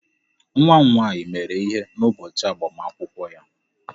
Nwa m nwaanyị mere ihere n'ụbọchị agbamakwụkwọ ya.